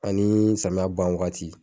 Ani samiya ban wagati.